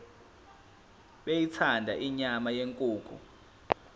beyithanda inyama yenkukhu